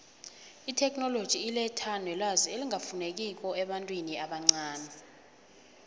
itheknoloji iletha nelwazi elingafinekiko ebantwini abancani